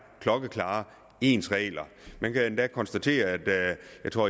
klokkeklare ens regler man kan endda konstatere at